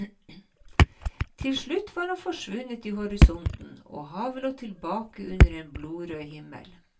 Til slutt var han forsvunnet i horisonten, og havet lå tilbake under en blodrød himmel.